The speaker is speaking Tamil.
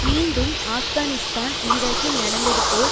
மீண்டும் ஆப்கானிஸ்தான் ஈராக்கில் நடந்தது போல்